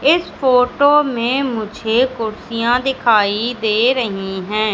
इस फोटो में मुझे कुर्सियां दिखाई दे रही हैं।